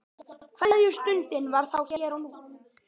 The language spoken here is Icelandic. Kveðjustundin var þá hér og nú.